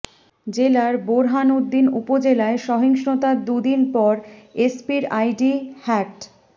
জেলার বোরহানউদ্দিন উপজেলায় সহিসংতার দু দিন পর এসপির আইডি হ্যাকড